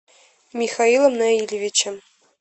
михаилом наилевичем